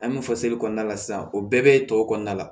An bɛ fɔ seli kɔnɔna la sisan o bɛɛ bɛ tɔw kɔnɔna la